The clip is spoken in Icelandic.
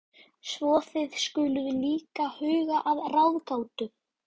Svo þið skuluð líka huga að ráðgátu.